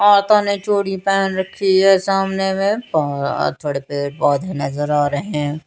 हाथो में चूड़ी पहन रखी हे सामने में बहोत बड़े पेड़ पोधे नज़र आ रहे हैं।